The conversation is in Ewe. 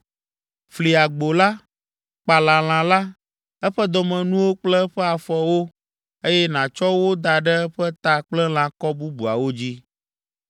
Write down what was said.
Fli agbo la, kpala lã la, eƒe dɔmenuwo kple eƒe afɔwo, eye nàtsɔ wo da ɖe eƒe ta kple lãkɔ bubuawo dzi.